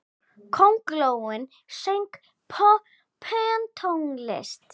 Köngulóin söng pönktónlist!